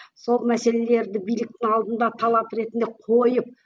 сол мәселелерді биліктің алдында талап ретінде қойып